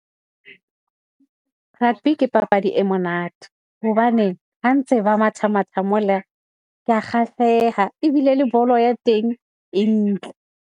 Rugby ke papadi e monate hobane ha ntse ba matha matha, mole ko kgahleha ebile le bolo ya teng e ntle.